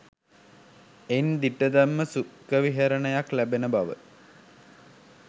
එයින් දිට්ඨධම්ම සුඛ විහරණයක් ලැබෙන බව